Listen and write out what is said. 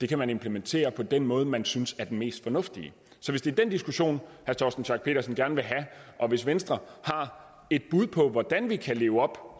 kan man implementere på den måde man synes er den mest fornuftige så hvis det er den diskussion herre torsten schack pedersen gerne vil have og hvis venstre har et bud på hvordan vi kan leve op